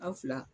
A fila